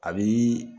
A bi